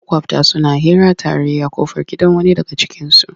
Maƙwabta suna hira tare a ƙofar gidan wani daga cikinsu.